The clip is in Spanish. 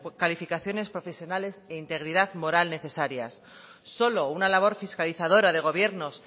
calificaciones profesionales e integridad moral necesarias solo una labor fiscalizadora de gobiernos